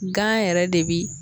Gan yɛrɛ de bi